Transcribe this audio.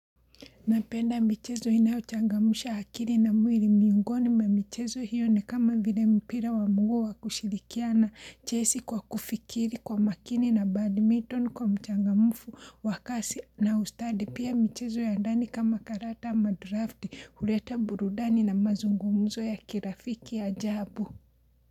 Napenda mchezo inayochangamusha hakiri na mwiri miungoni ma michezo hiyo ni kama vile mpira wa mnguu wa kushirikiana chesi kwa kufikiri kwa makini na badminton kwa mchangamufu wa kasi na ustadi. Pia michezo ya ndani kama karata ama drafti, ureta burudani na mazungumuzo ya kirafiki ya ajabu.